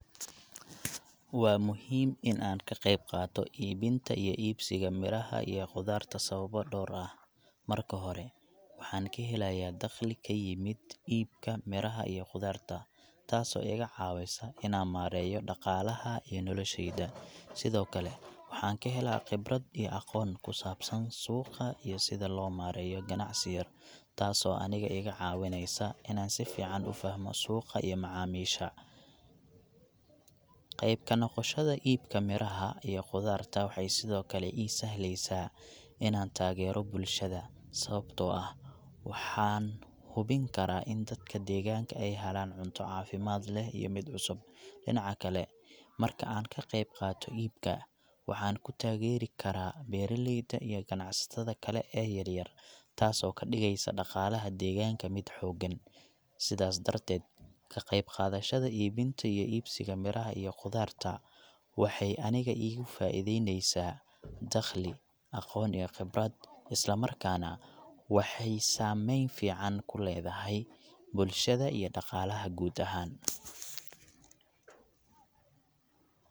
Waa muhiim in aan ka qayb qaato iibinta iyo iibsiga miraha iyo khudaarta sababo dhowr ah. Marka hore, waxaan ka helayaa dakhli ka yimid iibka miraha iyo khudaarta, taasoo iga caawisa inaan maareeyo dhaqaalaha iyo noloshayda. Sidoo kale, waxaan ka helaa khibrad iyo aqoon ku saabsan suuqa iyo sida loo maareeyo ganacsi yar, taasoo aniga iiga caawinaysa inaan si fiican u fahmo suuqa iyo macaamiisha. Qayb ka noqoshada iibka miraha iyo khudaarta waxay sidoo kale ii sahleysaa inaan taageero bulshada, sababtoo ah waxaan hubin karaa in dadka deegaanka ay helaan cunto caafimaad leh iyo mid cusub. Dhinaca kale, marka aan ka qaybqaato iibka, waxaan ku taageeri karaa beeralayda iyo ganacsatada kale ee yar yar, taasoo ka dhigaysa dhaqaalaha deegaanka mid xooggan. Sidaas darteed, ka qayb qaadashada iibinta iyo iibsiga miraha iyo khudaarta waxay aniga iigu faa'idayneysaa dakhli, aqoon iyo khibrad, isla markaana waxay saameyn fiican ku leedahay bulshada iyo dhaqaalaha guud ahaan.